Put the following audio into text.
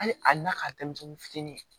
Hali ali n'a ka denmisɛnnin fitinin